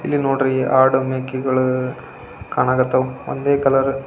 ಇಲ್ಲಿ ನೋಡ್ರಿ ಆಡು ಮೇಕೆಗಳು ಕಾಣ ಕಥಾವ ಒಂದೇ ಕಲರ್ --